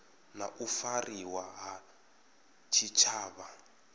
na u fariwa ha tshitshavha